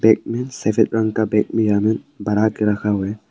बना के रखा हुआ है।